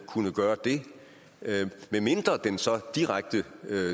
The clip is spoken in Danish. kunne gøre det medmindre den så direkte